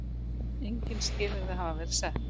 Engin skilyrði hafi verið sett.